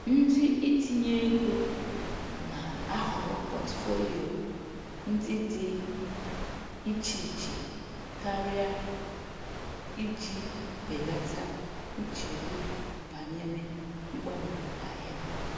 Ndị itinye ego na-ahọrọ portfolio ndị dị iche iche karịa iji belata nchegbu banyere mgbanwe ahịa.